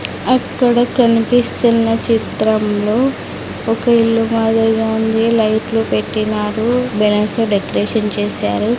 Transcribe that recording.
అక్కడ కనిపిస్తున్న చిత్రం లో ఒక ఇల్లు మాదిరిగా ఉంది లైట్లు పెట్టినారు బెలున్స్ తో డెకరేషన్ చేసారు.